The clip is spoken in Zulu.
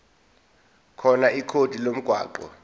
khona ikhodi lomgwaqo